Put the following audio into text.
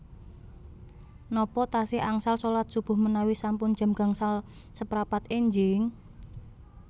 Nopo tasih angsal solat subuh menawi sampun jam gangsal seprapat enjing?